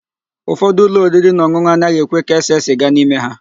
Ụfọdụ ụlọ oririnaọn̄ụn̄ụ anaghị ekwe ka ese sịga n'ime ha.